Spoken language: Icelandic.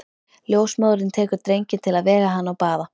Ljósmóðirin tekur drenginn til að vega hann og baða.